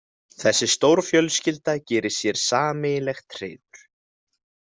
Þessi stórfjölskylda gerir sér sameiginlegt hreiður.